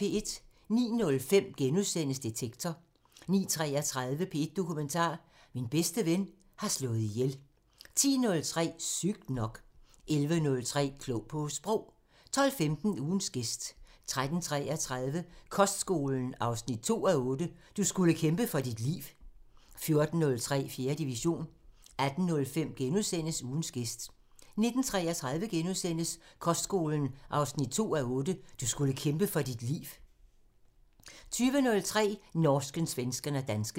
09:05: Detektor * 09:33: P1 Dokumentar – Min bedste ven har slået ihjel 10:03: Sygt nok 11:03: Klog på Sprog 12:15: Ugens gæst 13:33: Kostskolen 2:8 – "Du skulle kæmpe for dit liv" 14:03: 4. division 18:05: Ugens gæst * 19:33: Kostskolen 2:8 – "Du skulle kæmpe for dit liv" * 20:03: Norsken, svensken og dansken